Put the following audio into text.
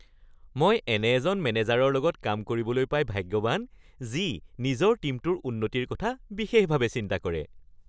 মই এনে এজন মেনেজাৰৰ লগত কাম কৰিবলৈ পাই ভাগ্যৱান যি নিজৰ টীমটোৰ উন্নতিৰ কথা বিশেষভাৱে চিন্তা কৰে।